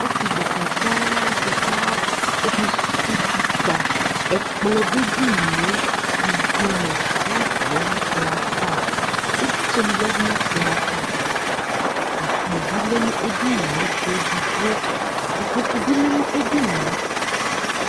Ɔsɩ dekǝ dza dɩ ka ɔkesuwu utikpa Ɛkplɔ dʋ edini yɛ Ivi nʋ glas lɛ nʋ ɛkplɔ yɛ ava Ɩvlɩtsɛnɩ yǝdu nʋ ɛkplɔ yɛ ava Akpo bɩ lɛ nʋ edini yɛ ayʋ ɛgɔ edigbo Ukpoku bɩ lɛ nʋ edini yɛ